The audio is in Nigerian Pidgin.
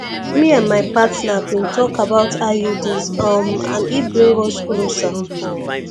me and my partner been talk about iuds um and e bring us closer